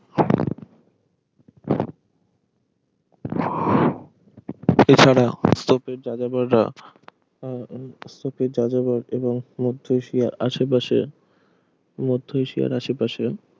এছাড়া স্তপের যাযাবররা আহ স্তপের যাযাবর এবং মধ্য এশিয়া আসে পাশে মধ্য এশিয়ার আসে পাশে